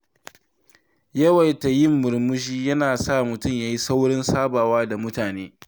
Yawaita yin murmushi yana sa mutum ya yi saurin sabawa da mutane.